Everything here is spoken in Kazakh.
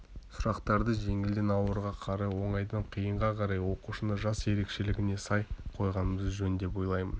сұрақтарды жеңілден ауырға қарай оңайдан қиынға қарай оқушының жас ерекшелігіне сай қойғанымыз жөн деп ойлаймын